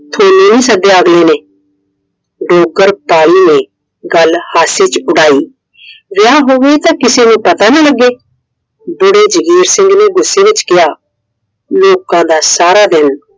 ਤੁਹਾਨੂ ਨਹੀਂ ਸੱਦਿਆ ਅਗਲੇ ਨੇ। ਡੋਗਰ ਤਾਈ ਨੇ ਗੱਲ ਹਾਸੇ ਚ ਉਡਾਈ। ਵਿਆਹ ਹੋਵੇ ਤਾਂ ਕਿਸੇ ਨੂੰ ਪਤਾ ਨਾ ਲੱਗੇ। ਬੁੜੇ ਜੰਗੀਰ ਸਿੰਘ ਨੇ ਗੁੱਸੇ ਚ ਕਿਹਾ ਲੋਕਾਂ ਦਾ ਸਾਰਾ ਦਿਨ